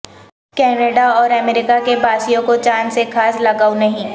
Canada اور America کے باسیوں کو چاند سے خاص لگائو نہیں